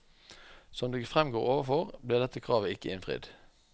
Som det fremgår overfor, ble dette kravet ikke innfridd.